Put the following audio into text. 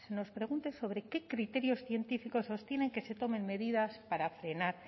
nos pregunte sobre qué criterios científicos sostienen que se tomen medidas para frenar